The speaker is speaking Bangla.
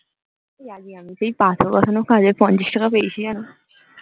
এই আমি সেই পাথর বসানোর কাজে পঞ্চাশ টাকা পেয়েছি জানো